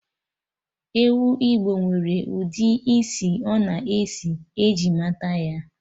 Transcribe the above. Ewu Igbo nwere ụdị isi ọ na-esi eji mata ya